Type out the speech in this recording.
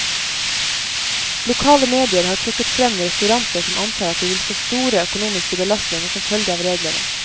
Lokale medier har trukket frem restauranter som antar at de vil få store økonomiske belastninger som følge av reglene.